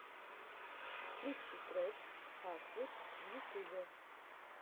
включи трек хартвуд в ютубе